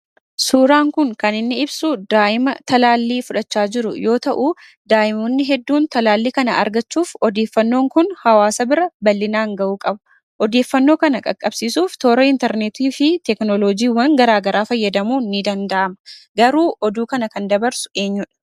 Suuraan kun, kaniinni ibsu daa'ima taalalli fudhachaa jiru yoo ta'u, daa'imoonni hedduun talaalli kana argachuuf odeeffannoon kun, hawaasa bira bal'inaan ga'u qaba. odeeffannoo kana qaqqabsiisuuf toora inteerneetii fi teekinooloojii garaagaraa fayyadamuun ni danda'ama. garuu oduu kana kan dabarsu eenyuudha?